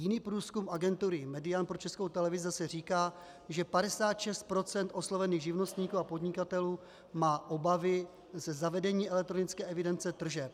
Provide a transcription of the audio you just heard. Jiný průzkum agentury Median pro Českou televizi zase říká, že 56 % oslovených živnostníků a podnikatelů má obavy ze zavedení elektronické evidence tržeb.